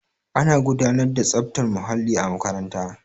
ana gudanar da tsaftar muhalli a makaranta